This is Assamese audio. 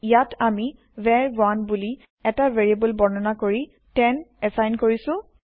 ইয়াত আমি ভাৰ1 বুলি এটা ভেৰিয়েব্ল বৰ্ণনা কৰি 10 এচাইন কৰিছো